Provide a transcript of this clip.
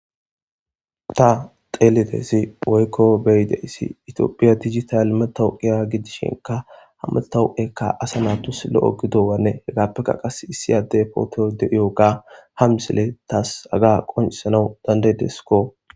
ta xeelidezi oykko beyideyssi itiophiya dijital metawuqiya gidishinka hammatawuqekka asa natus lo7o gido wanne hegaappeka qas issi adde poote de7iyo ga ham sile taas aga qoncisanau dandaydeskko